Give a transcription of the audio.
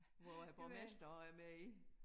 Hvor æ borgmester er med i